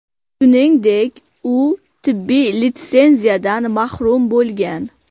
Shuningdek, u tibbiy litsenziyadan mahrum bo‘lgan.